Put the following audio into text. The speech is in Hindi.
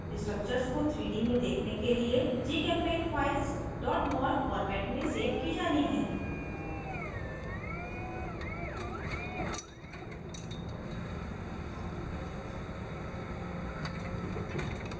structures को 3d में देखने के लिए gchempaint files mol format में सेव की जानी हैं